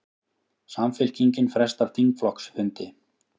Samfylkingin frestar þingflokksfundi